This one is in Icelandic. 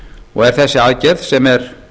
og er þessari aðgerð sem er